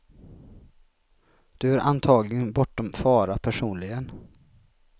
Du är antagligen bortom fara personligen.